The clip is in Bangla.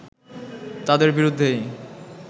তাদের বিরুদ্ধেই